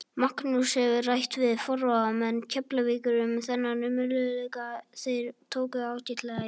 Magnús hefur rætt við forráðamenn Keflavíkur um þennan möguleika og þeir tóku ágætlega í það.